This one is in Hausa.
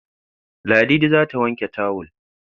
Ladidi za ta wanke tawul